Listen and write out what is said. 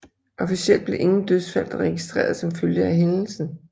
Officielt blev ingen dødsfald registreret som følge af hændelsen